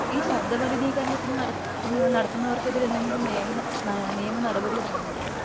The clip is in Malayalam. ഈ ശബ്ദ മലിനീകരണത്തിന് നടക്കുന്ന നടത്തുന്നവർക്കെതിരെ എന്തെങ്കിലും നിയമ നിയമനടപടി എന്തെങ്കിലും ഉണ്ടോ